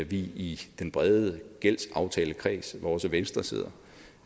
vi i den brede gældsaftalekreds som også venstre sidder